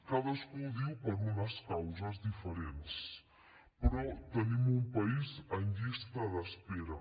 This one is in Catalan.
cadascú ho diu per unes causes diferents però tenim un país en llista d’espera